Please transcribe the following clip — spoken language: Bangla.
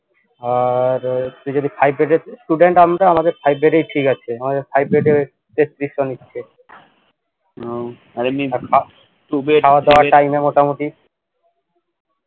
আর তুই যদি five bed student আমরা আমাদের five bed ই ঠিক আছে আমাদের five bed এ তেত্রিশশো নিচ্ছে খাওয়া দাওয়া time এ মোটামুটি